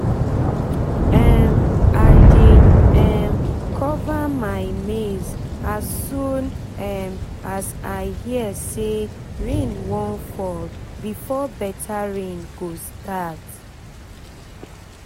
um i dey um cover my maize as soon um as i hear say say rain wan fall before better rain go start